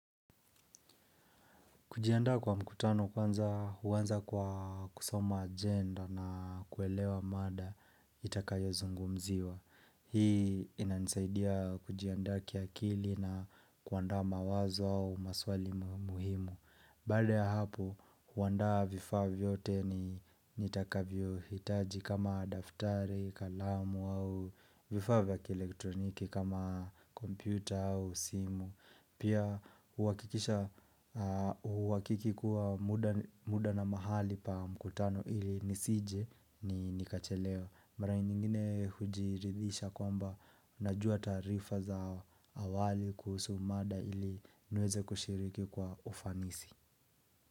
Kujiandaa kwa mkutano kwanza huanza kwa kusoma agenda na kuelewa mada itakayozungumziwa. Hii inanisaidia kujiandaa kiakili na kuandaa mawazo au maswali muhimu. Baada ya hapo, kuandaa vifaa vyote nitakavyohitaji kama daftari, kalamu au vifaa vya kielektroniki kama kompyuta au simu. Pia uwakiki kuwa muda na mahali pa mkutano ili nisije ni nikachelewa Mara nyingine hujiridhisha kwamba unajua tarifa za awali kuhusu umada ili niweze kushiriki kwa ufanisi.